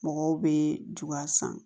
Mɔgɔw bɛ juga san